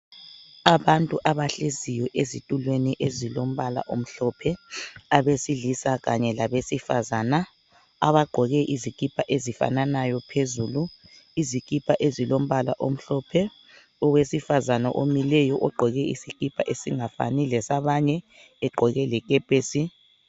Abantu abahleziyo ezitulweni ezilombala omhlophe abesilisa kanye labesifazana abagqoke izikipa ezifananayo phezulu izikipa ezilombala omhlophe owesifazane omileyo ogqoke isikipa esingafani lesabanye egqoke lekepesi.